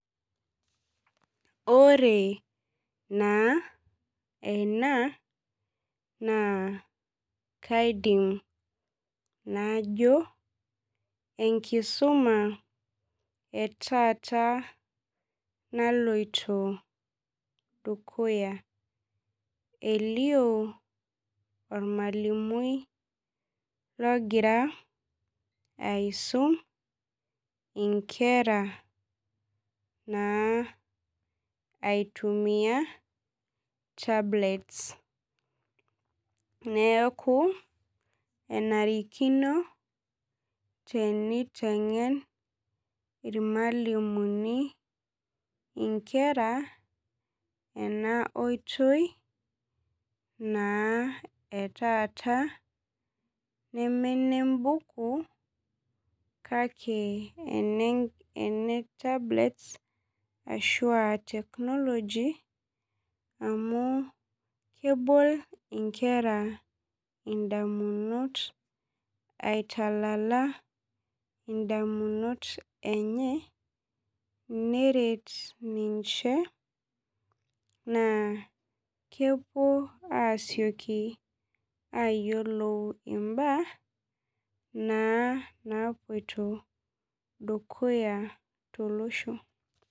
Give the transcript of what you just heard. Ore naa ena naa kaidim najo enkisuma etaata naloito dukuya elio ormalimui logira aisum inkera naa aitumia tablets neeku enarikino teniteng'en irmalimuni inkera ena oitoi naa etaata neme enembuku kake ene ene tablets ashua technology amu kebol indamunot aitalala indamunot enye neret ninche naa kepuo asioki ayiolou imbaa naa napuoito dukuya naa tolosho.